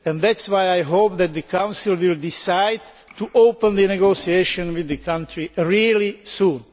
That is why I hope that the Council will decide to open negotiations with the country really soon.